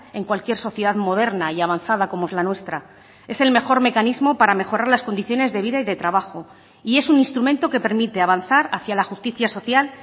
en cualquier sociedad moderna y avanzada como es la nuestra es el mejor mecanismo para mejorar las condiciones de vida y de trabajo y es un instrumento que permite avanzar hacia la justicia social